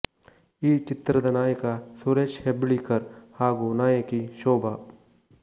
ಈ ಚಿತ್ರದ ನಾಯಕ ಸುರೇಶ್ ಹೆಬ್ಳೀಕರ್ ಹಾಗು ನಾಯಕಿ ಶೋಭ